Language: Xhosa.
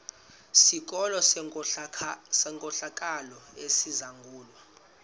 sikolo senkohlakalo esizangulwa